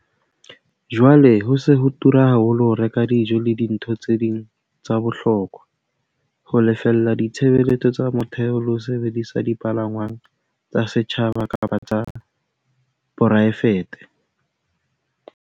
Jwale ho se ho tura haholo ho reka dijo le dintho tse ding tsa bohokwa, ho lefella ditshebeletso tsa motheo le ho sebedisa dipalangwang tsa setjhaba kapa tsa poraefete.